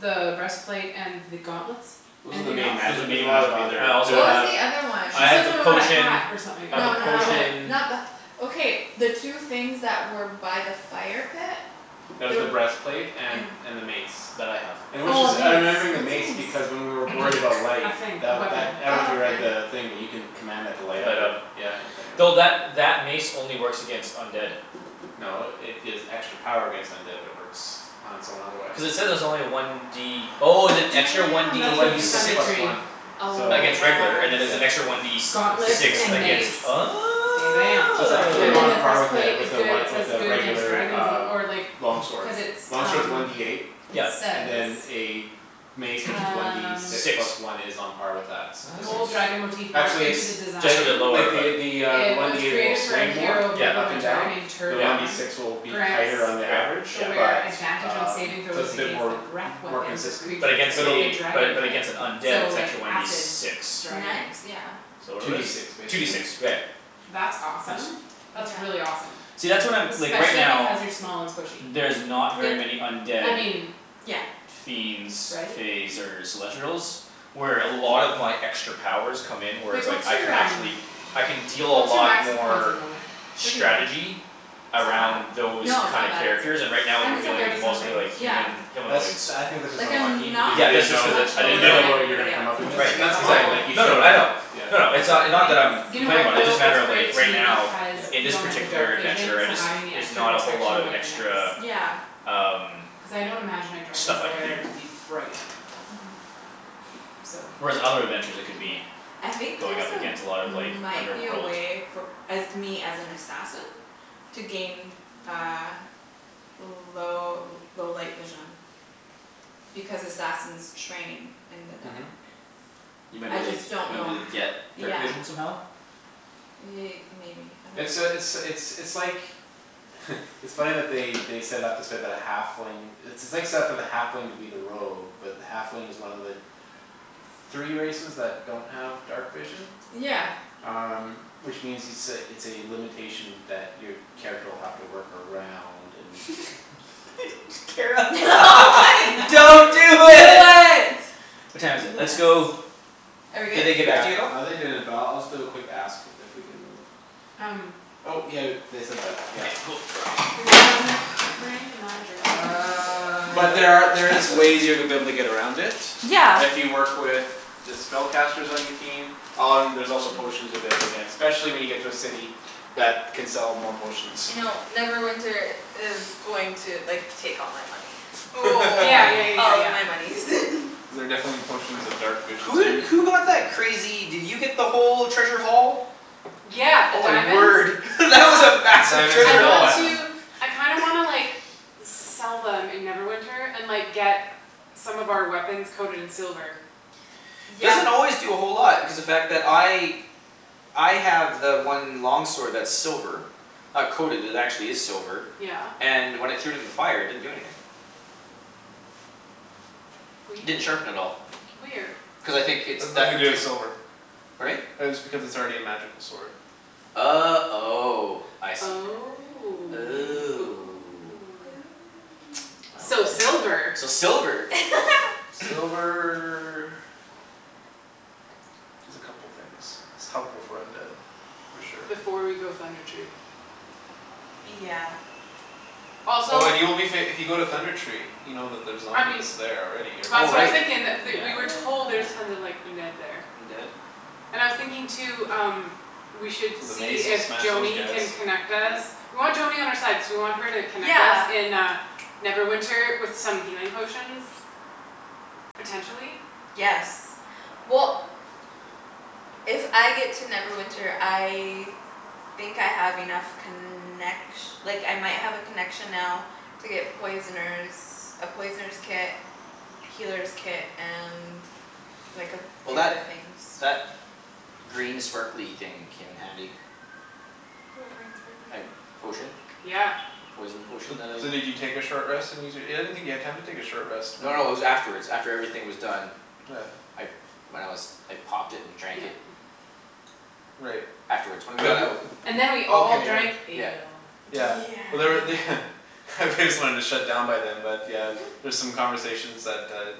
The breastplate and the gauntlets? Those are the Anything else? main magi- Those as are main we'll magic have other I there's What also was have the the other one? She I have said the something about a potion hat or something. I No have a A no no helmet potion not the okay the two things that were by the fire pit? That was There the breastplate and and and the mace. That I have. And which Oh a is I'm mace. remembering the What's mace a because mace? when we were worried about light A thing, a The weapon. that I dunno if Oh you read okay the thing but you can Command that to light up Light and you up. c- yeah you turn it Though that on. that mace only works against undead. No it gives extra power against undead but it works on its own otherwise. Cuz it says it's only one D Oh is it extra one Damn D It's a that's one worth D for six? six Thunder plus Tree. one. Oh So Against regular and then there's an yeah. extra one yes D And s- Gauntlets sixty six and percent against mace. Oh Bam bam So it's actually And then on the part with breastplace is a good, it one says with a good against regular dragons uh or like Long Cuz it's sword. Long sword's um one D eight It Yep and says then a Mace which is one D Um six Six. plus one is on par with that, Gold statistically. Nice. dragon motive Actually it's into the design. Just a t- bit lower like but. the The uh the It one was D eight will created for a swing more hero of Yep up and Neverwinter named down The one D yep Tergon. six will be Grants tighter on the average. the Yeah yeah. wearer But Advantage on saving um so throws it's a bit against the more breath More Weapons of consistent but But creatures against of the a the dragon but type. against an undead So it's like actually one D acid six. dragons. Nice yeah So what Two are D these? six Two D six. basically, Right. yeah. That's It's Tense. awesome. That's Yeah really awesome. See that's what I'm like right Especially now because you're small and squishy. There's not very Yep many undead I mean yeah fiends right? Faes or celestrials Where a lot of my extra powers come in where it's Wait like what's I can your um actually I can deal a What's your lot max hit points at more the moment? Thirty nine Strategy That's not Around bad those No it's kind of not bad characters it's and right I now mean we're Mine's still it's dealing with thirty not bad something. mostly it's like okay yeah Human That's humanoids. I think that's just Like I'm unlucky because not you Yeah didn't that's just know cuz it much I lower You didn't didn't than know know what you were everybody gonna else. come up It's just Right against. like And a that's couple fine exactly. like you No no no shouldn't I know. have. Yeah. A No couple no, it's points. uh not that I'm You know Complaining what about it, though? just a It's matter of like great right too now because Yeah. In you this don't have the particular dark vision, adventure, I so just having the Is extra not a whole lot protection of might be extra nice. Yeah Um Cuz I don't imagine a dragon's Stuff I can lair to be do bright. Mhm So Whereas in other adventures I could Yeah be I think going there's up a against a lot of like might be a underworld. way for uh me as an assassin To gain uh L- low low light vision Because assassins train in the Mhm dark. You might be I able to like just don't might know be able to h- get yeah dark vision somehow? Ye- maybe I It's uh it's dunno it's it's like It's funny that they they set it up this way but a halfling It's it's like set up for the halfling to be the rogue but the halfling is one of the Three races that don't have dark vision. Yeah Um which means it's a it's a limitation that your Character will have to work around and Kara Don't do it. What time is it? Let's Yes Yes go Are we Did good? they get back to you at Yeah all? uh they didn't but I'll just do a quick ask. If we can move. Um Oh yeah they said that Okay yeah cool Bringing my drink. Bringing my drink. Uh I'm But like there are there is passed out. ways to be able to get around it. Yeah If you work with The spellcasters on your team Um there's also potions you'll be able to get Specially when you get to a city. I That can sell more potions. I know Neverwinter is going to like take all my money. Oh Yeah yeah yeah yeah All of yeah. my monies Cuz there are definitely potions of dark vision Who so you did who got that crazy did you get the whole treasure haul? Yeah, the Oh my diamonds word that was a massive Diamonds I and treasure the haul. want to platinum. I kinda wanna like Sell them in Neverwinter and like get Some of our weapons coated in silver. Yeah Doesn't always do a whole lot because the fact that I I have the one long sword that's silver. Not coated, it actually is silver. Yeah. And when I threw it in the fire it didn't do anything. Didn't Weird. sharpen at all. Weird. Cuz I think it's That's deft nothing or to do with silver. Pardon me? That is because it's already a magical sword. Oh oh I see. Oh Oh oh. So Well then. silver. So silver. Silver Does a couple things. It's helpful for undead for sure. Before we go Thunder Tree. Yeah Also Oh and you will be fa- if you go to Thunder Tree You know that there's I mean zombies there already or Oh That's what I was right, yeah. thinking that th- we were told there's tons of like undead there. Undead? And I was thinking too um We should So the see mace will if smash those Joany guys. can connect us Yep. We want Joany on our side cuz we want her to connect us Yeah in uh Neverwinter with some healing potions. Potentially. Yes well If I get to Neverwinter I Think I have enough connec- Like I might have a connection now To get poisoner's A poisoner's kit Well that Healer's kit and like a few that other things. green sparkly thing came in handy. What green sparkly Uh thing? potion. Yeah The poison potion So that I so did you take a short rest and use your I didn't think you had time to take a short rest No when no it was afterwards. After everything was done. Yeah I when I was I popped it and drank Yep it. Right. Afterwards when we got But out And then we did all drank okay yeah. Yeah. ale. Yeah Yeah but there're they They just wanted to shut down by them but yeah There's some conversations that uh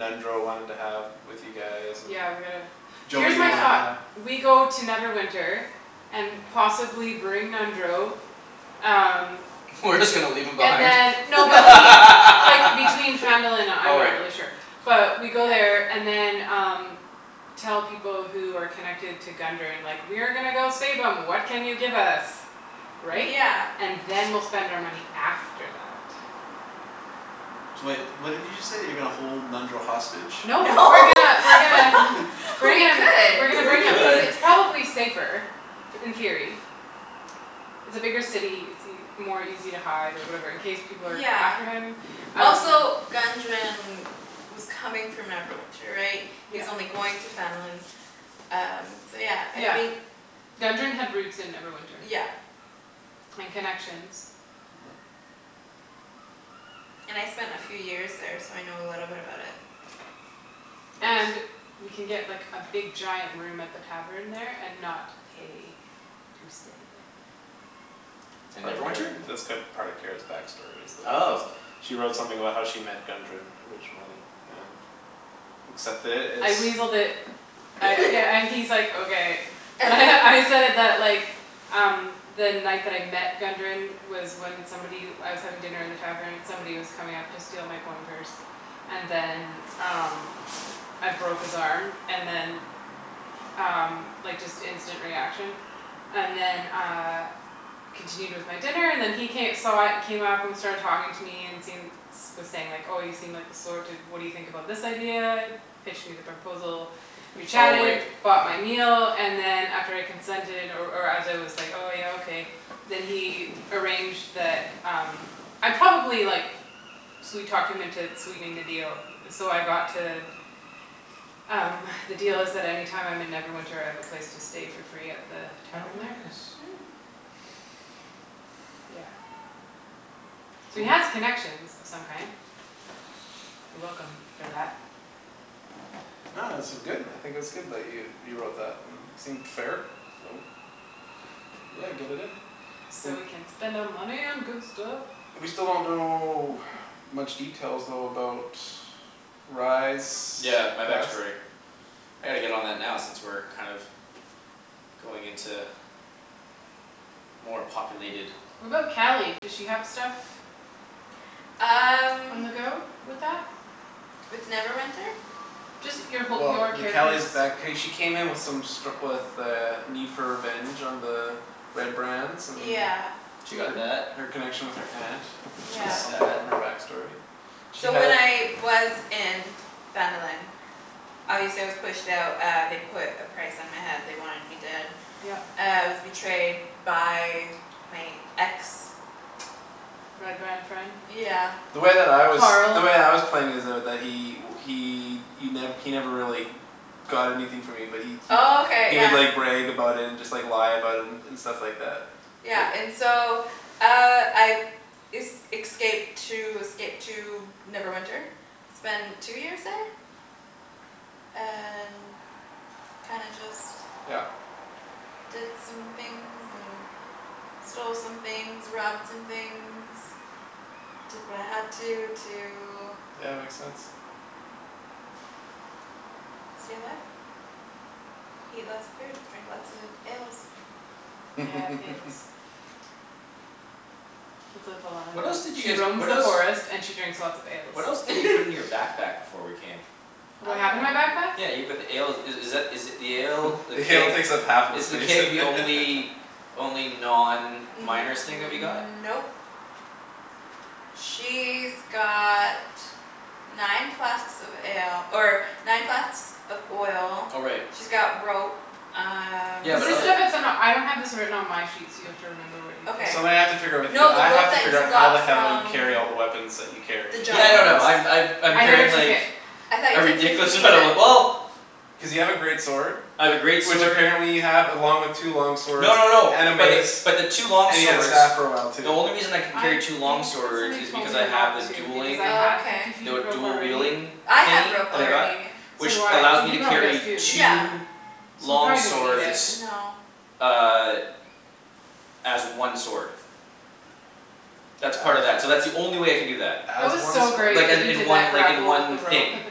Nundro wanted to have with you guys and Yeah we gotta here's Joany my wanted to thought. have. Yeah We go to Neverwinter. And possibly bring Nundro Um We're just gonna leave him And behind? then no but he like between Phandalin and uh I'm Oh not right. really sure But we go Yeah there and then um Tell people who are connected to Gundren like, "We are gonna go save 'em, what can you give us?" Right? Yeah And then we'll spend our money after that. So wait, what did you just say? You're gonna hold Nundro hostage? No No we're gonna we're gonna Bring We him we're gonna We could bring him cuz could. it's probably safer in theory It's a bigger city. It's ea- more easy to hide or whatever in case people are Yeah after him um Also Gundren was coming from Neverwinter right? He Yeah was only going to Phandalin Um so yeah I Yeah. think Gundren had roots in Neverwinter. Yeah And connections. Mhm And I spent a few years there so I know a little bit about it. And Nice we can get like a big giant room at the tavern there and not pay to stay It's In part of Kara's Neverwinter? it's cu- there part of Kara's back story is the Oh host She wrote something about how she met Gundren originally, and Accept it, I it's weaseled it I yeah and he's like, "Okay." And I said that like Um the night that I met Gundren Was when somebody I was having dinner in the tavern, somebody was coming up to steal my coin purse. And then um I broke his arm and then Um like just instant reaction And then uh Continued with my dinner and then he ca- saw it came up started talking to me and seen Was saying like, "Oh you seem like the sort to what do you think about this idea?" Pitched me the proposal We Oh chatted, right. bought my meal, and then And after I consented or or as I was Like, "Oh yeah okay", then he Arranged the um I probably like Sweet talked him into sweetening the deal, so I got to Um the deal is that any time I'm in Neverwinter I have a place to stay for free at the Oh tavern there nice. Yeah So we Cool have connections of some kind. You're welcome for that. No this is good. I think it's good that you you wrote that. It seemed fair, so. Yeah get it in. So we W- can spend our money on good stuff. We still don't know much details though about Rye's Yeah my past. backstory. I gotta get on that now since we're kind of Going into More populated. What about Cali? Does she have stuff? Um On the go with that? With Neverwinter? Just your whole your Well the character's Cali's back hey she came in with some stru- With a need for revenge on the Red Brands and Yeah She got that. Her her connection with her aunt. She Is got Yeah something that. from her back story. She So when had I was in Phandalin Obviously I was pushed out uh they put a price on my head they wanted me dead. Yep Uh I was betrayed by my ex Red Brand friend? Yeah The way that I was the Carl way I was playing is though that he he y- he never really Got anything from me but he he Okay He would yeah like brag about it and just lie about it and And stuff like that Yeah but and so uh I Es- excaped to escaped to Neverwinter Spend two years there And kinda just Yeah Did some things and stole some things, robbed some things. Did what I had to to Yeah makes sense. Stay alive Eat lots of food drink lots of ales Yeah, ales It's what Velana What else does. did you She guys roams what the else forest and she drinks lots of ales. What else did you put in your backpack before we came? What A do I have in my lot backpack? Yeah you put the ale i- is that is it the ale The The ale keg takes up half of the is the space keg the only Only non miner's thing that we got? Nope She's got nine flasks of ale or nine flasks of oil Oh right. She's got rope um Yeah Is but this the other stuff that's in a I don't have this written on my sheet so you have to remember what you put Okay in. Something I have to figure out with you. No the I have rope to that figure you out how the got hell you from carry all the weapons that you the carry. A Yeah giant no no limit. I'm I've I'm I never carrying remember? took like it. I thought A you took ridiculous fifty feet amount of of w- it? well Cuz you have a great sword. I have a great Which sword apparently you have along with two long swords No no no and a but the mace. but the two long And you had a swords staff for a while The too. only reason I can I carry two long think that swords somebody is told because me I not have a to because dueling I had Okay fifty The feet of w- rope dual already wielding I had thingy rope that I got Yeah. already So Which do I. allows me He to he probably does carry too. Yeah two So we Long probably Oh didn't need it. s- swords no Uh As one sword. That's part of that. So that's the only way I can do that. That As was one so sword? great Like uh that you in did one that like in grapple with the one rope thing. at the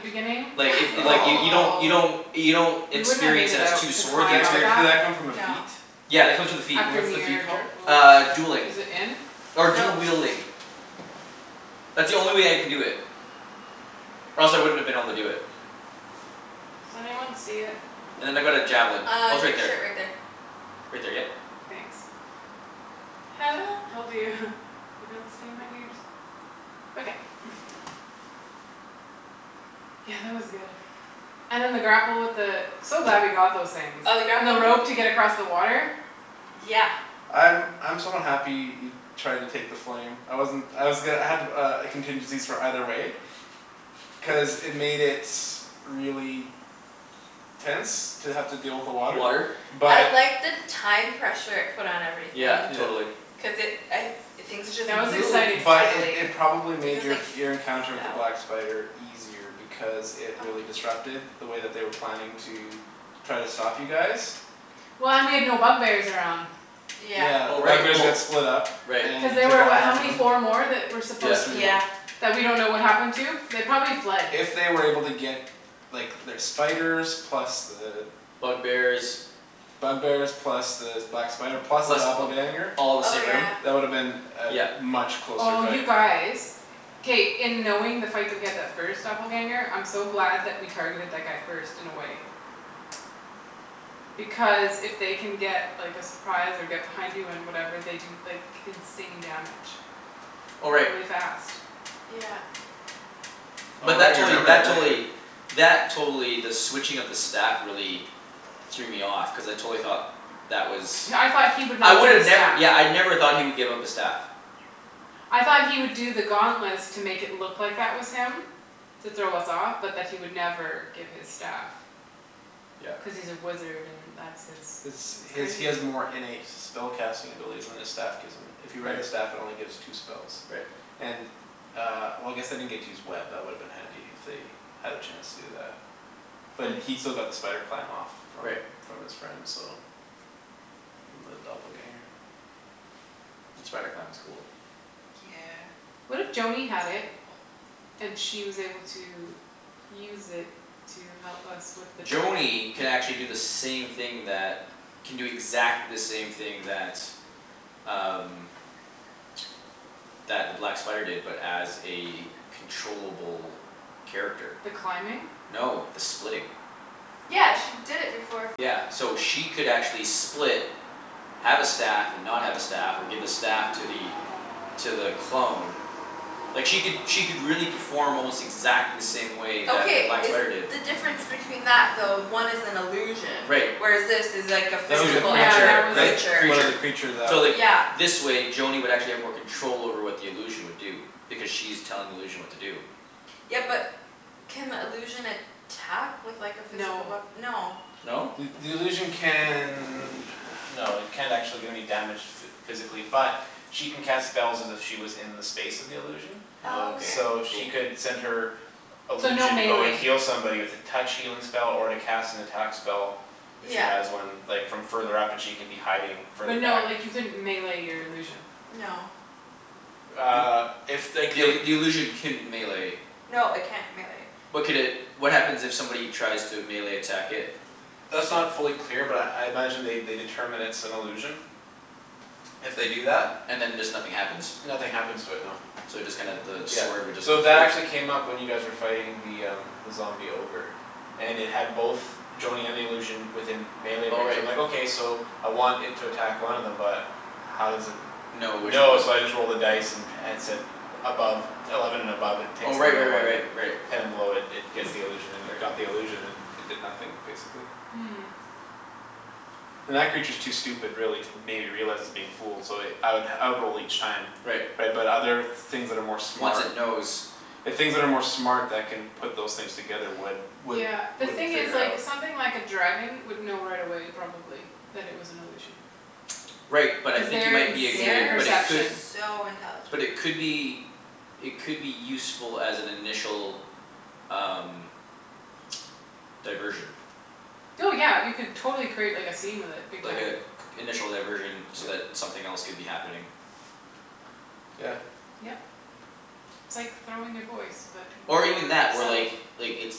beginning Like it it like y- Oh you don't you I know don't You don't We wouldn't have made experience it it as out two to Did swords, you that climb c- up experience did that that. come from a feat? No Yeah it comes with the feat. After What's the near feat dr- called? oh. Uh dueling. Is it in? Or dual Nope wielding. That's the only way I can do it. Or else I wouldn't have been able to do it. Does anyone see it? And then I've got a javelin. Uh Oh it's on right your there. shirt right there Right there yep Thanks Told you, they don't stay in my ears. Okay Yeah that was good. And then the grapple with the So glad we got those things. Oh we got And the rope to get across the water. Yeah I'm I'm somewhat happy he Tried to take the flame. I wasn't I was go- I had uh contingencies for either way Cuz it made it really Tense to have to deal with the Water water I But liked the time pressure it put on everything. Yeah Yeah totally. Cuz it I things just That was moved exciting. But it finally it probably I made guess your like Your encounter with the felt black spider easier Because it really disrupted the way that they were planning to Try to stop you guys Well and we had no bug bears around. Yeah Yeah Oh the bug right bears well got split up right Cuz And you they took were out what how half of many? them Four more? That were Yeah supposed There's three to more. Yeah That we don't know what happened to? They probably fled. If they were able to get Like their spiders plus the Bug bears Bug bears plus the black spider plus the Plus th- doppelganger all the Oh same room yeah That woulda been Yep A much closer Oh you fight. guys. K, in knowing the fight that we had that first doppelganger I'm so glad that we targeted that guy first in a way. Because if they can get like a surprise and get behind you and whatever they can do like insane damage. Oh right. Really fast. Yeah But Oh that you totally remember that that don't totally you? That totally the switching of the staff really Threw me off cuz I totally thought That was Yeah I thought he would I not get a would've never staff. yeah I never thought he would give up the staff. I thought he would do the gauntlets to make it look that was him To throw us off but that he would never give his staff. Yeah Cuz he's a wizard and that's his. It's That's he has he crazy. has more innate Spell casting abilities than his staff. Gives him. If you read the Right staff it only gives two spells. Right And uh well I guess they didn't get to use web, that woulda been handy if they Had a chance to do that. But he still got the spider climb off. From Right from his friend so From the doppelganger. The spider clam was cool. Yeah What It's if pretty Joany had it cool. And she was able to use it to help us with the dragon? Joany can actually do the same thing that Can do exactly the same thing that um That the black spider did but as a Controllable character. The climbing? No the splitting. Yeah she did it before. Yeah so she could actually split Have a staff and not have a staff or give a staff to the To the clone Like she could she could really perform almost exactly the same way that the Okay black is spider did. the difference between that though one is an illusion Right. Whereas this is like a That was a physical Yeah other that creature. was a Right. that was creature. One of Creature the creatures that So like Yeah this way Joany would actually have more control over what the illusion would do. Because she's telling the illusion what to do. Yeah but can illusion attack with like a physical No wea- no No? The the illusion can No it can't actually do any damage. Physically but she can cast Spells as if she was in the space of the illusion Oh Okay So okay. she cool. could send her So no Illusion to go and melee heal somebody with a Touch healing spell or to cast an attack spell. If she Yeah has one like from further up and she can be hiding further But no back like you couldn't melee your illusion. No Uh if like The ill- it the illusion can melee No it can't melee. But could it what happens if somebody tries to melee attack it? That's not fully clear but I I imagine they determine it's an illusion If they do that And then just nothing happens? Nothing happens to it no. So it just kinda the Yeah, sword would just so go through that it? actually came up when you guys were fighting the um The zombie ogre. And it had both Joany and the illusion within Melee Oh range right. I'm like okay so I want it to attack one of them but How does it No which know one? so I just rolled a dice. And at said above Eleven and above it Oh picks the right right real right one right and right. Ten and below it gets the illusion and it Right. Got the illusion and it did nothing basically. And that creature's too stupid really to maybe realize it's being fooled so I would I would roll each time. Right Right but other things that are more Once smart it knows. The things that are more smart that can Put those things together would would Yeah the Would thing is figure it like out. something like a dragon would know right away probably. That it was an illusion Right but I cuz think you their might be a good insane but it could They're perception. so But intelligent. it could be It could be useful as an initial um Diversion. Oh yeah you could totally create like a scene with it big Like time. a initial diversion so that something else could be happening. Yeah. Yep. It's like throwing your voice, but Or even your that or self. like like it's